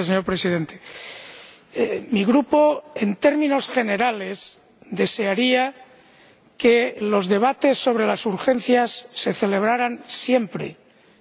Señor Presidente, mi Grupo, en términos generales, desearía que los debates sobre las urgencias se celebraran siempre